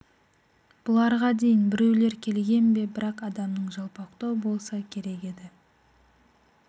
бұларға дейін біреулер келген бе бірақ адамның жалпақтау болса керек еді